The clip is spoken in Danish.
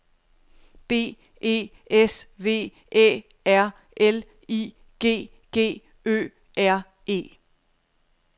B E S V Æ R L I G G Ø R E